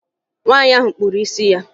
Nwaanyị ahụ kpụrụ isi ya